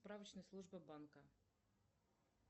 справочная служба банка